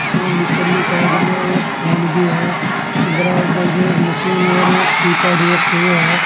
और निचली साइड में एक फोन भी है उसके बराबर में एक मशीन और एक कीपैड रखे हुए हैं।